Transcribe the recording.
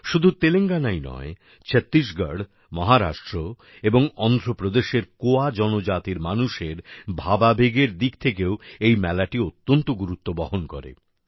শুধু তেলেঙ্গানাই নয় ছত্তিশগড় মহারাষ্ট্র এবং অন্ধ্রপ্রদেশের কোয়া জনজাতির মানুষের ভাবাবেগের দিক থেকেও এই মেলাটি অত্যন্ত গুরুত্ব বহন করে